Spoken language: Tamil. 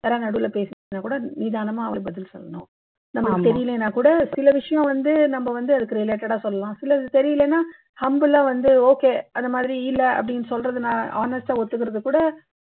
யாராவது நடுல பேசுனா கூட நிதானமா அவர் பதில் சொல்லணும் நமக்கு தெரியலைன்னா கூட சில விஷயம் வந்து நம்ம வந்து அதுக்கு related ஆ சொல்லலாம் சிலது தெரியலேன்னா humble ஆ வந்து okay அந்த மாதிரி இல்லை அப்படின்னு சொல்றது நா honest ஆ ஒத்துக்கிறது கூட